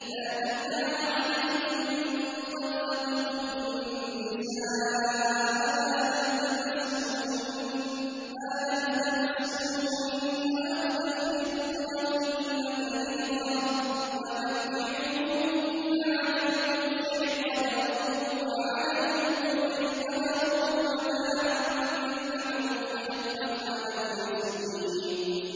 لَّا جُنَاحَ عَلَيْكُمْ إِن طَلَّقْتُمُ النِّسَاءَ مَا لَمْ تَمَسُّوهُنَّ أَوْ تَفْرِضُوا لَهُنَّ فَرِيضَةً ۚ وَمَتِّعُوهُنَّ عَلَى الْمُوسِعِ قَدَرُهُ وَعَلَى الْمُقْتِرِ قَدَرُهُ مَتَاعًا بِالْمَعْرُوفِ ۖ حَقًّا عَلَى الْمُحْسِنِينَ